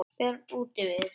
Björn útivið.